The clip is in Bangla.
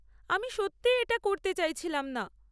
আমি সত্যিই এটা করতে চাইছিলাম।